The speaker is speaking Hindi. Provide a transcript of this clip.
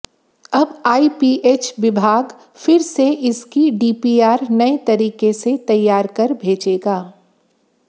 अब आईपीएच विभाग फिर से इसकी डीपीआर नए तरीके से तैयार कर भेजेगा